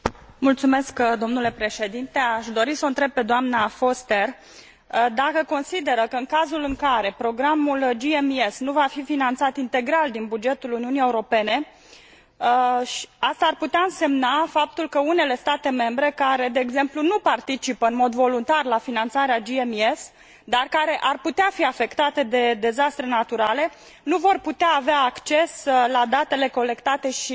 Aș dori s o întreb pe doamna Foster dacă consideră că, în cazul în care programul GMES nu va fi finanțat integral din bugetul Uniunii Europene, aceasta ar putea însemna faptul că unele state membre care, de exemplu, nu participă în mod voluntar la finanțarea GMES, dar care ar putea fi afectate de dezastre naturale, nu vor putea avea acces la datele colectate și furnizate de GMES